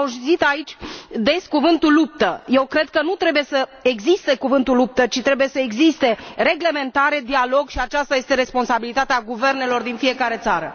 Am auzit aici des cuvântul luptă, eu cred că nu trebuie să existe cuvântul luptă, ci trebuie să existe reglementare, dialog, și aceasta este responsabilitatea guvernelor din fiecare țară.